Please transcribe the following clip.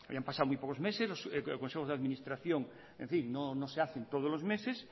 habían pasado muy pocos meses los consejos de administración en fin no se hacen todos los meses